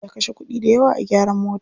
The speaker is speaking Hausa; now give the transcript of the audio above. Ya kashe kuɗi dayawa a gyaran mota.